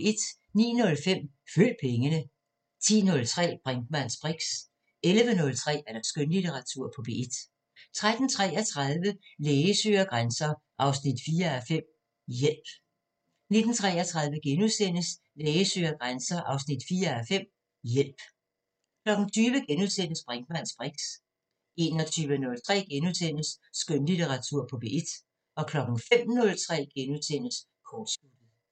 09:05: Følg pengene 10:03: Brinkmanns briks 11:03: Skønlitteratur på P1 13:33: Læge søger grænser 4:5 – Hjælp 19:33: Læge søger grænser 4:5 – Hjælp * 20:03: Brinkmanns briks * 21:03: Skønlitteratur på P1 * 05:03: Kortsluttet *